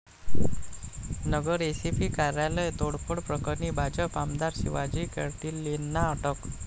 नगर SP कार्यालय तोडफोड प्रकरणी भाजप आमदार शिवाजी कर्डिलेंना अटक